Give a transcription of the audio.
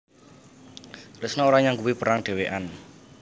Kresna ora nyanggupi perang dhewekan